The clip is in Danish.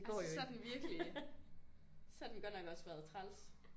Altså så er den virkelig så har den godt nok også været træls